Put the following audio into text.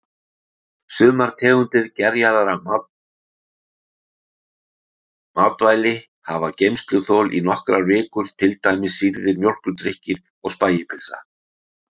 Sumar tegundir gerjaðra matvæli hafa geymsluþol í nokkrar vikur, til dæmis sýrðir mjólkurdrykkir og spægipylsa.